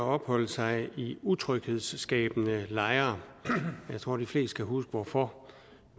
opholde sig i utryghedsskabende lejre jeg tror de fleste kan huske hvorfor